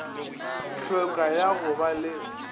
hlweka ya go ba le